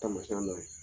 Taamasiyɛn dɔ ye